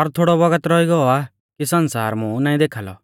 और थोड़ौ बौगत रौई गौ आ कि सण्सार मुं नाईं देखाल़ौ